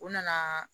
U nana